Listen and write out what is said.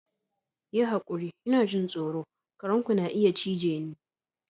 Yi hakuri! Ina jin tsoro, kare ku na iya cije ni.